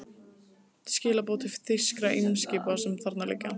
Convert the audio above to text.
Skilaboð til þýskra eimskipa, sem þarna liggja.